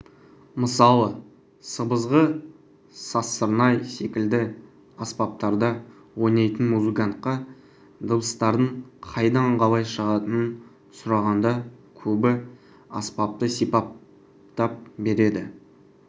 мысалы сыбызғы сазсырнай секілді аспаптарда ойнайтын музыкантқа дыбыстардың қайдан қалай шығатынын сұрағанда көбі аспапты сипаттап береді